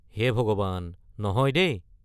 হে ভগৱান, নহয় দেই!